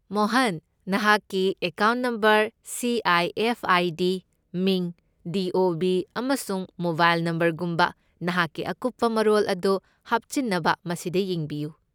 ꯃꯣꯍꯟ, ꯅꯍꯥꯛꯀꯤ account number, C. I. F. I. D., ꯃꯤꯡ, D. O. B., ꯑꯃꯁꯨꯡ mobile ꯅꯝꯕꯔꯒꯨꯝꯕ ꯅꯍꯥꯛꯀꯤ ꯑꯀꯨꯞꯄ ꯃꯔꯣꯜ ꯑꯗꯨ ꯍꯥꯞꯆꯤꯟꯅꯕ ꯃꯁꯤꯗ ꯌꯦꯡꯕꯤꯌꯨ꯫